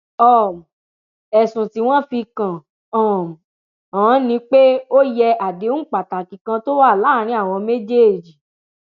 um ẹsùn tí wọn fi kàn um án ni pé ó yẹ àdéhùn pàtàkì kan tó wà láàrin àwọn méjèèjì